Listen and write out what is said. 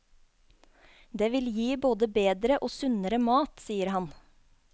Det vil gi både bedre og sunnere mat, sier han.